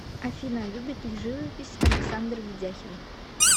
афина любит ли живопись александр ведяхин